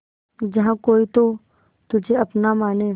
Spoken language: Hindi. जहा कोई तो तुझे अपना माने